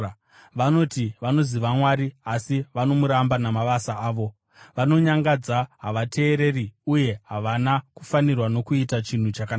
Vanoti vanoziva Mwari, asi vanomuramba namabasa avo. Vanonyangadza, havateereri uye havana kufanirwa nokuita chinhu chakanaka.